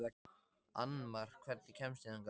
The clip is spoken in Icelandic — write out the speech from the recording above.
Annmar, hvernig kemst ég þangað?